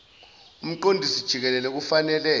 umqondisi jikelele kufanele